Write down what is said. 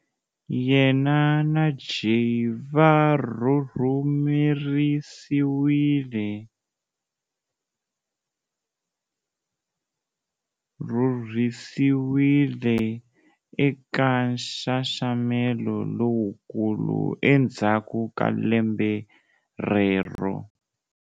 Yena na Jey va rhurhisiwile eka nxaxamelo lowukulu endzhaku ka lembe rero.